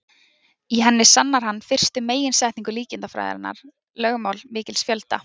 Í henni sannar hann fyrstu meginsetningu líkindafræðinnar, lögmál mikils fjölda.